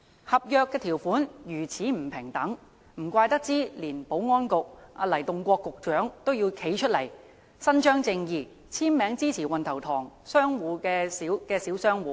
合約條款如此不平等，難怪連保安局局長黎棟國也要站出來伸張正義，簽名支持運頭塘商場的小商戶。